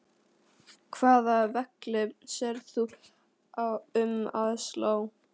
Hvaða velli sérð þú um að slá?